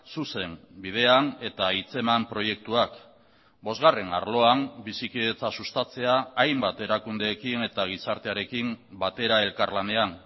zuzen bidean eta hitzeman proiektuak bosgarren arloan bizikidetza sustatzea hainbat erakundeekin eta gizartearekin batera elkarlanean